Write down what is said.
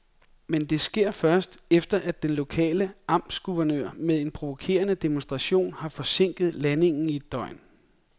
Men det sker først, efter at den lokale amtsguvernør med en provokerende demonstration har forsinket landingen i et døgn.